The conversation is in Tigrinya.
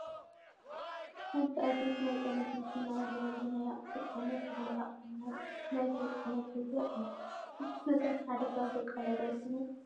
ሓንቲ ኣይሱዙ ናይ ፅዕነት መኪና ኣብ ልዕሊ ናይ ኣቑሑ ፅዕነት ልዕሊ ዕቅን ናይ ሰብ ፅዕነት ሒዛ ኣላ፡፡ እዚ ኩነታት ንሓደጋ ዘቃልዕ ዶ ኣይኮነን?